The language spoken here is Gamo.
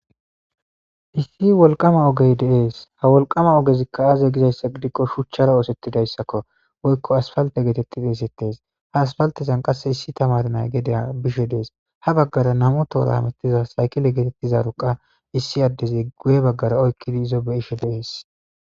issi wolqama ogey deees ha wolqama ogezikka aaze gizayssa gidikko shuchchara oosettidayssakko woykko asfalte geetetti deesettes ha asfaltezan qasse issi tamar nay gedea bishe dees ha baggara nam7u toora hamettiza saykile geetettizaruqa issi addezi guye baggara oykkidi izo be ishe deees